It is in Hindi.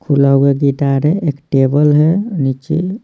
खुला हुआ गिटार है एक टेबल है नीचे।